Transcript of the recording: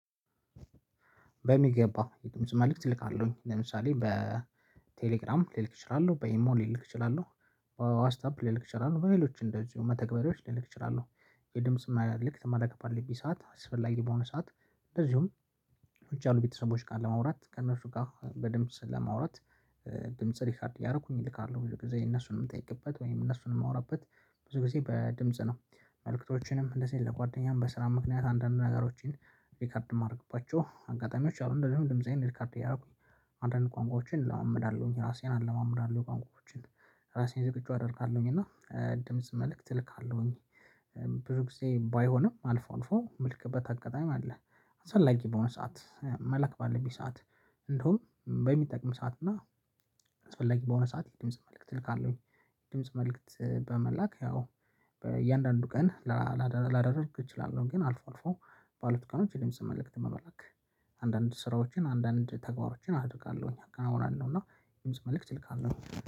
በሚገባ የድምጽ መልእክት እልካለሁኝ ለምሳሌ በቴሌግራም ልልክ እችላለሁ በይሞ ልልክ እችላለሁ። ዋስት አፕ ልልክ እችላለሁ በሌሎች እንደዚሁ መተግበሪያዎች ልክልክ እችላለሁ። የድምጽ መልእክት መላክ ፈልጌ ሰዓት አስፈላጊ በሆነ ሰዓት እንደዚሁም ውጪ ያሉ ቤተሰቦች ቃል ለማውራት ከእነሱ ጋር በድምጽ ለማውራት። ድምጽ ሪፋርድ ያደረኩኝ ይልካሉ ብዙ ጊዜ እነሱን የምጠይቅበት ወይም እነሱን የማወራበት ብዙ ጊዜ በድምጽ ነው። መልእክቶችንም እንደዚህ ለጓደኛም በስራ ምክንያት አንዳንድ ነገሮችን ሪከርድ ማድረግባቸው አጋጣሚዎች አሉ እንደዚሁም ድምፃዬን ሪከርድ እያደረኩኝ። አንዳንድ ቋንቋዎችን እለማመዳለሁኝ ራሴን አለማመዳለሁ ቋንቋዎችን ራሴን ዝግጁ አደርጋለሁኝ እና ድምጽ መልእክት እልካለሁኝ። ብሩክ ጊዜ ባይሆንም አልፎ አልፎ ምልክበት አጋጣሚ አለ። አሰፈላጊ በሆነ ሰዓት መለክ ባለብኝ ሰዓት እንደውም በሚጠቅም ሰዓት እና አስፈላጊ በሆነ ሰዓት የድምጽ መልእክት እልካለሁኝ። ድምጽ መልእክት በመላክ ያው በእያንዳንዱ ቀን ላላዳርግ እችላለሁ ግን አልፎ አልፎ ባሉት ቀኖች የድምጽ መልእክት መላክ። አንዳንድ ስራዎችን አንዳንድ ተግባሮችን አድርጋለሁኝ አወራለሁና የድምጽ መልእክት እልካለሁኝ።